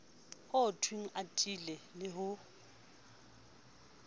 ho thwenge atile le ho